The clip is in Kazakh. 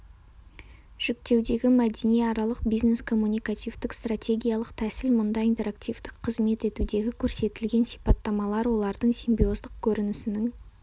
жіктеудегі мәдениаралық бизнес-коммуникативтік стратегиялық тәсіл мұнда интерактивтік қызмет етудегі көрсетілген сипаттамалар олардың симбиоздық көрінісінің